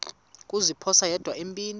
kuziphosa yedwa empini